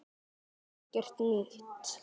Það er ekkert nýtt.